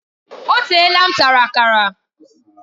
O teela m tara Akara